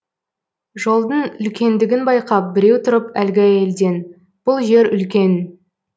жолдың үлкендігін байқап біреу тұрып әлгі әйелден бұл жер үлкен